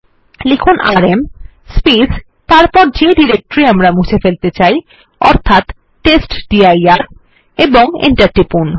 লিখুন আরএম এবং যে ডিরেক্টরি আমরা মুছে ফেলতে চাই অর্থাৎ টেস্টডির এবং এন্টার টিপুন